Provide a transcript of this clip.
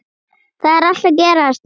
Þar er allt að gerast.